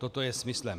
Toto je smyslem.